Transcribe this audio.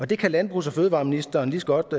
det kan landbrugs og fødevareministeren lige så godt